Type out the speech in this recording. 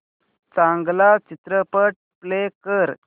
चांगला चित्रपट प्ले कर